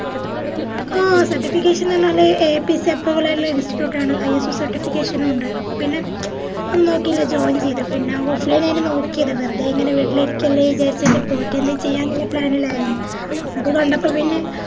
അഹ് certification ന്ന് പറഞ്ഞാല് AAPCapproval ആയിട്ടുള്ള institute ആണ് ISOcertification നുണ്ട് അപ്പൊ പിന്നെ ഒന്നുനോക്കുല്ല join ചെയ്തു പിന്നെ offline ഏനു നോക്കിയത് വെറുതേ ഇങ്ങനെ വീട്ടിലിരിക്കല്ലേ വിചാരിച്ചിട്ട് പോയിട്ടെന്തേ ചെയ്യന്നിള്ള plan ഇലാണ് അപ്പൊ ഏത് വന്നപ്പൊത്തന്നെ